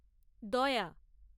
দয়া